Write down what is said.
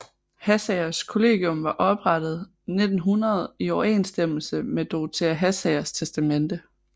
Hassagers Kollegium var oprettet 1900 i overensstemmelse med Dorothea Hassagers testamente